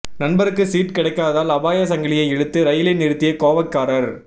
நண்பருக்கு சீட் கிடைக்காததால் அபாய சங்கிலியை இழுத்து ரயிலை நிறுத்திய கோவைக்காரர்